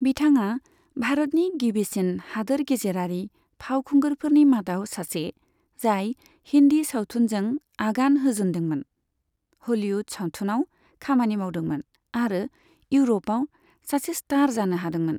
बिथाङा भारतनि गिबिसिन हादोर गेजेरारि फावखुंगुरफोरनि मादाव सासे, जाय हिन्दी सावथुनजों आगान होजनदोंमोन, हलीवुड सावथुनआव खामानि मावदोंमोन आरो इउर'पआव सासे स्टार जानो हादोंमोन।